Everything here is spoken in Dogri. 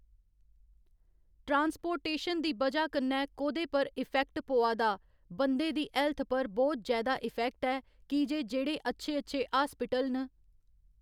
ट्रांसपोर्टेशन दी बजह कन्नै कोह्दे पर इफैक्ट पवा दा बंदे दी हैल्थ पर बहुत जैदा इफैक्ट ऐ की जे जेह्ड़े अच्छे अच्छे हास्पिटल न